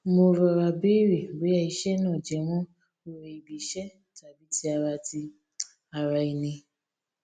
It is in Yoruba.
mo rọra béèrè bóyá iṣé náà jẹmọ oore ibi iṣẹ tàbí ti ara ti ara ẹni